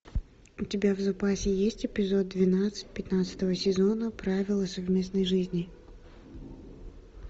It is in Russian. у тебя в запасе есть эпизод двенадцать пятнадцатого сезона правила совместной жизни